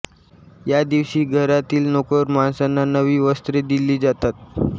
या दिवशी घरातील नोकर माणसांना नवी वस्त्रे दिली जातात